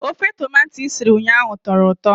Ofe tomato i siri ụnyahụ tọrọ ụtọ